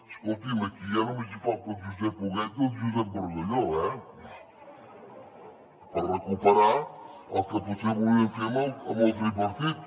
escolti’m aquí ja només hi falta el josep huguet i el josep bargalló eh per recuperar el que potser volien fer amb el tripartit